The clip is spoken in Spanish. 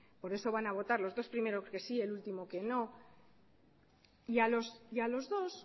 por eso van a votar los dos primeros que sí y el último que no y a los dos